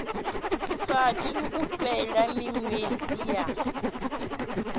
saathu u fhela miṅwedzi ya